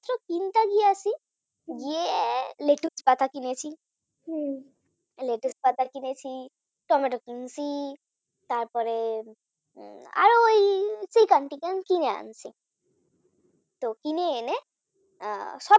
হ্যাঁ লেটুস পাতা কিনেছি, লেটুস পাতা কিনেছি টমেটো কিনেছি তারপরে আর ওই Chicken আনছি কিনে আনছে কিনে এনেছি কিনে এনে